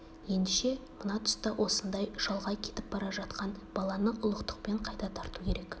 ендеше мына тұста осындай шалғай кетіп бара жатқан баланы ұлықтықпен қайта тарту керек